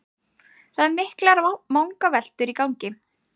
Það eru miklar vangaveltur í gangi